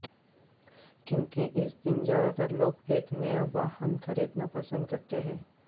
क्योंकि इस दिन ज्यादातर लोग एक नया वाहन खरीदना पसंद करते हैं